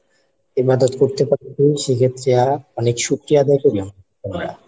ইবাদত করতে পারি সেইক্ষেত্রেআ অনেক শুকরিয়া আদায় করি আম~ আমরা।